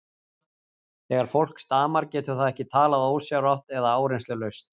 Þegar fólk stamar getur það ekki talað ósjálfrátt eða áreynslulaust.